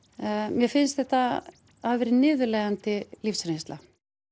mér finnst þetta hafa verið niðurlægjandi lífsreynsla